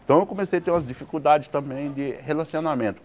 Então eu comecei a ter umas dificuldades também de relacionamento.